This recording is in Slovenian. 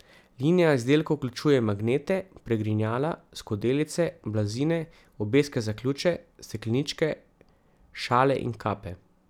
Linija izdelkov vključuje magnete, pregrinjala, skodelice, blazine, obeske za ključe, stekleničke, šale in kape ...